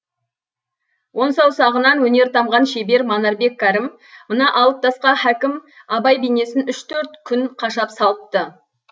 он саусағынан өнер тамған шебер манарбек кәрім мына алып тасқа хакім абай бейнесін үш төрт күн қашап салыпты